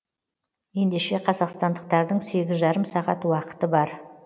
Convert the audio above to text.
ендеше қазақстандықтардың сегіз жарым сағат уақыты бар